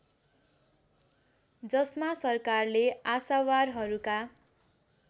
जसमा सरकारले आशावारहरूका